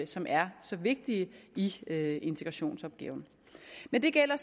som er så vigtige i integrationsopgaven men det gælder